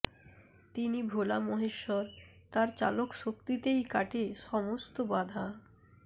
তিনি ভোলা মহেশ্বর তাঁর চালক শক্তিতেই কাটে সমস্ত বাধা